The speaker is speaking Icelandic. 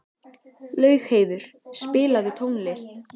Laugheiður, spilaðu tónlist.